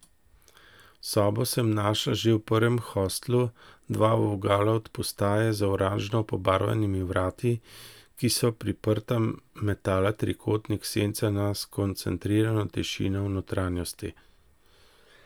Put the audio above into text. Sobo sem našla že v prvem hostlu, dva vogala od postaje, za oranžno pobarvanimi vrati, ki so priprta metala trikotnik sence na skoncentrirano tišino v notranjosti.